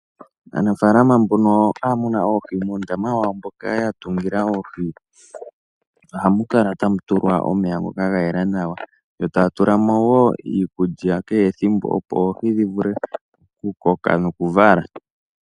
Aanafaalama mbono haya muna oohi, muundama wawo moka ya tungila oohi, ohamu kala tamu tulwa omeya ngoka ga yela nawa, yo taya tula mo wo iikulya kehe ethimbo, opo oohi dhi vule oku koka noku vala.